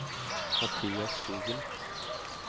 Mathias Skogen